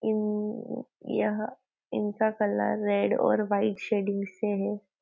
अम यहाँ इनका colour red और व्हाइट शेडिंग से हैं।